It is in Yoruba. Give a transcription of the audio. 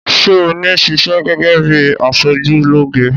Sé oní ṣiṣẹ́ gẹ́gẹ́ bíi aṣojúlóge?